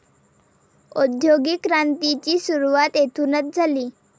औद्योगिक क्रांतीची सुरुवात येथूनच झाली.